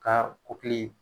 Ka kupili.